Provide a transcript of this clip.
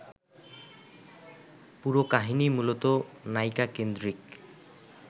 পুরো কাহিনিই মূলত নায়িকাকেন্দ্রিক